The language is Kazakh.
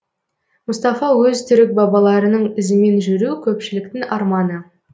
мұстафа өзтүрік бабаларының ізімен жүру көпшіліктің арманы